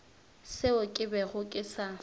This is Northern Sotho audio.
seo ke bego ke sa